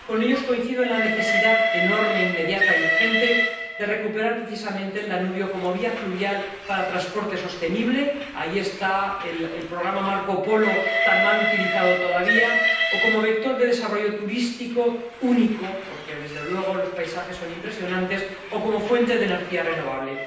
Con ellos coincido en la necesidad enorme, inmediata y urgente, de recuperar precisamente el Danubio como vía fluvial para transporte sostenible ahí está el Programa Marco Polo, tan mal utilizado todavía o como vector de desarrollo turístico único porque, desde luego, los paisajes son impresionantes o como fuente de energía renovable.